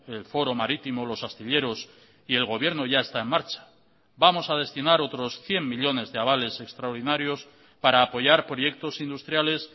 el foro marítimo los astilleros y el gobierno ya está en marcha vamos a destinar otros cien millónes de avales extraordinarios para apoyar proyectos industriales